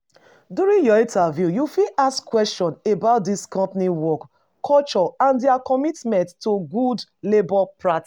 During your interview, you fit ask questions about di company work culture and their commitment to good labour practice